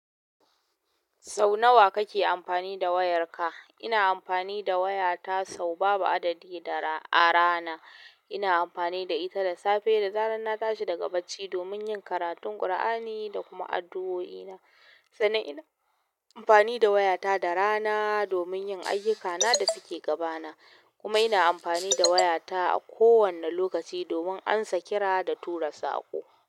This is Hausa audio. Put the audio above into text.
Sau nawa kake amfani da wayarka? Ina amfani da wayata sau babu adadi a rana. Ina amfani da ita da safe, da zarar na tashi daga bacci domin yin karatun Kur'ani da kuma addu'oi na. Sannan ina amfani da wayata da rana domin yin ayyuka na da ke gabana kuma ina amfani da wayata a kowane lokaci domin amsa kira da tura saƙo.